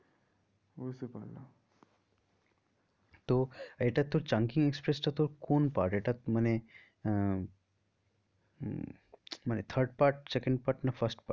বুঝতে পারলাম তো এটা তোর chungking express টা তোর কোন part এটা মানে আহ মানে third part second part না first part